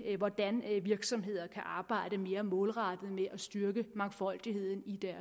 hvordan virksomheder kan arbejde mere målrettet med at styrke mangfoldigheden i